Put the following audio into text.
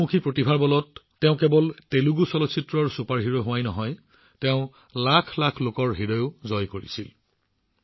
তেওঁৰ বহুমুখী প্ৰতিভাৰ বলত তেওঁ কেৱল তেলেগু চলচ্চিত্ৰৰ চুপাৰষ্টাৰ হোৱাই নহয় কোটি কোটি লোকৰ হৃদয়ও জয় কৰিছিল